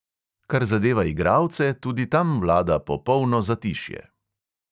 Kar zadeva igralce, tudi tam vlada popolno zatišje.